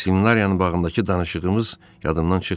Seminariyanın bağındakı danışığımız yadımdan çıxmayıb.